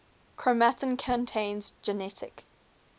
chromatin contains genetic